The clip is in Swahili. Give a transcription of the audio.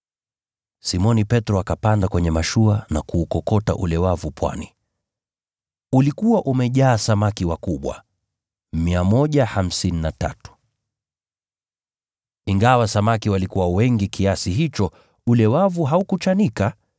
Simoni Petro akapanda kwenye mashua na kuukokota ule wavu pwani. Ulikuwa umejaa samaki wakubwa 153. Ingawa samaki walikuwa wengi kiasi hicho, ule wavu haukuchanika.